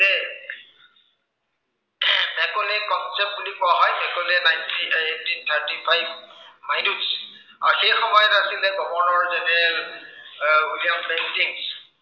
Macaulay concept বুলি কোৱা হয়। মেকলে ninteen এৰ eighteen thirty five, মাইলোচ, আৰু সেই সময়ত আছিলে governor general এৰ উইলিয়াম বেংকিঙচ